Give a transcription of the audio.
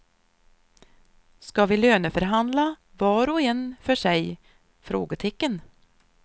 Ska vi löneförhandla var och en för sig? frågetecken